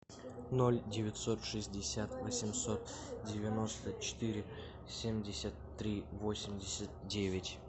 ноль девятьсот шестьдесят восемьсот девяносто четыре семьдесят три восемьдесят девять